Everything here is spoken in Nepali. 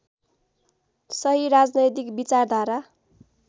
सही राजनैतिक विचारधारा